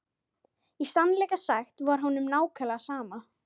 Í sannleika sagt var honum nákvæmlega sama.